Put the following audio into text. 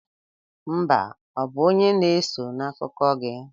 Mba ọ bụ onye na-eso' n'akụkọ gị?